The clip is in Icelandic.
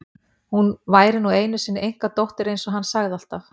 Hún væri nú einu sinni einkadóttir eins og hann sagði alltaf.